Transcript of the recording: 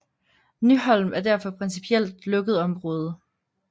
Nyholm er derfor principielt lukket område